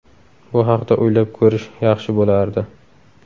Bu haqda o‘ylab ko‘rish yaxshi bo‘lardi.